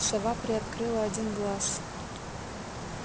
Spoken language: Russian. сова приоткрыла один глаз